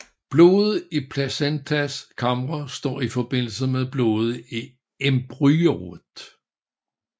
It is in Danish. Blodet i placentas kamre står i forbindelse med blodet i embryoet